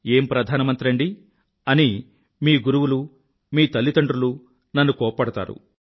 ఏం ప్రధానమంత్రండీ అని మీ గురువులు మీ తల్లిదండ్రులు నన్ను కోప్పడతారు